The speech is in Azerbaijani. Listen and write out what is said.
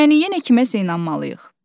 Yəni yenə kiməsə inanmalıyıq.